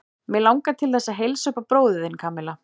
Mig langar til þess að heilsa upp á bróður þinn, Kamilla.